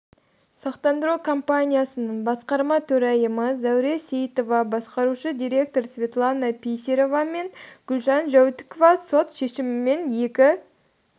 сақтандыру компаниясының басқарма төрайымы зәуре сейітова басқарушы директор светлана писарева мен гүлжан жәутікова сот шешімімен екі